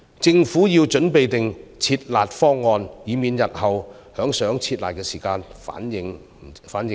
政府要準備"撤辣"方案，以免日後想"撤辣"時反應不及。